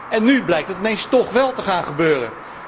En nu blijkt dat ineens toch wel te gaan gebeuren.